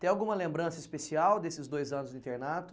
Tem alguma lembrança especial desses dois anos do internato?